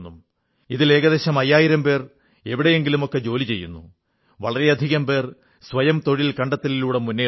ഇവരിൽ ഏകദേശം അയ്യായിരം പേർ എവിടെയെങ്കിലുമൊക്കെ ജോലി ചെയ്യുന്നു വളരെയധികം പേർ സ്വയം തൊഴിൽ കണ്ടെത്തലിലൂടെ മുന്നേറുന്നു